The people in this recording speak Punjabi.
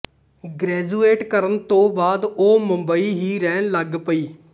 ਗ੍ਰੇਜੂਏਟ ਕਰਨ ਤੋਂ ਬਾਅਦ ਉਹ ਮੁੰਬਈ ਹੀ ਰਹਿਣ ਲੱਗ ਪਈ